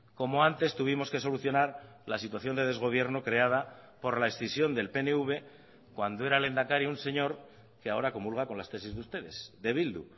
como antes tuvimos que solucionar la situación de desgobierno creada por la escisión del pnv cuando era lehendakari un señor que ahora comulga con las tesis de ustedes de bildu